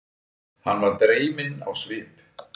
Hann varð dreyminn á svip.